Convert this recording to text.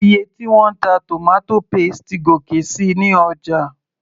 iye tí wọ́n ń ta tomato paste ti gòkè síi ní ọjà